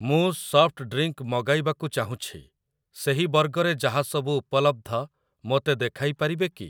ମୁଁ soft drink ମଗାଇବାକୁ ଚାହୁଁଛି, ସେହି ବର୍ଗରେ ଯାହା ସବୁ ଉପଲବ୍ଧ ମୋତେ ଦେଖାଇ ପାରିବେ କି?